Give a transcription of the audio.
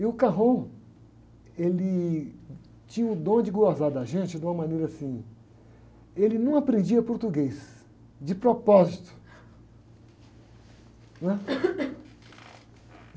E o, ele tinha o dom de gozar da gente de uma maneira assim, ele não aprendia português, de propósito, né?